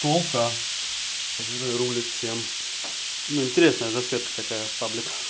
ту к которая рулит всем но интересная засветка такая в группа